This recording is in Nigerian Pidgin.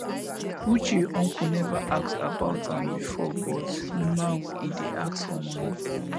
uche uncle never ask about am before but now he dey ask for money